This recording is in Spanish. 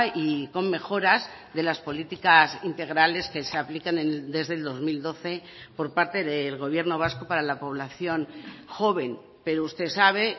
y con mejoras de las políticas integrales que se apliquen desde el dos mil doce por parte del gobierno vasco para la población joven pero usted sabe